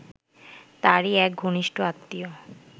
তারই এক ঘনিষ্ট আত্মীয়